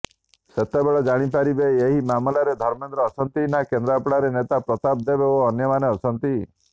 ସେତେବେଳେ ଜାଣିପାରିବ ଏହି ମାମଲାରେ ଧର୍ମେନ୍ଦ୍ର ଅଛନ୍ତି ନା କେନ୍ଦ୍ରାପଡ଼ାର ନେତା ପ୍ରତାପ ଦେବ ଓ ଅନ୍ୟମାନେ ଅଛନ୍ତି